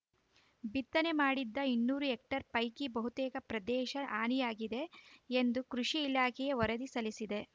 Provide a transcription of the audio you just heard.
ಬಿತ್ತನೆ ಮಾಡಿದ ಇನ್ನೂರು ಹೆಕ್ಟೇರ್‌ ಪೈಕಿ ಬಹುತೇಕ ಪ್ರದೇಶ ಹಾನಿಯಾಗಿದೆ ಎಂದು ಕೃಷಿ ಇಲಾಖೆಯೇ ವರದಿ ಸಲ್ಲಿಸಿದೆ